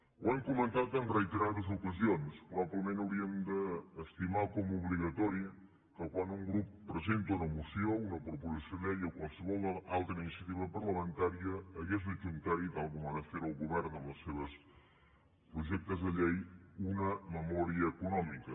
ho hem comentat en reiterades ocasions probablement hauríem d’estimar com a obligatori que quan un grup presenta una moció una proposició de llei o qualsevol altra iniciativa parlamentària hagués d’adjuntarhi tal com ho ha de fer el govern amb els seus projectes de llei una memòria econòmica